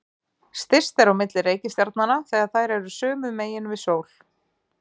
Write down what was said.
Styst er á milli reikistjarnanna þegar þær eru sömu megin við sól.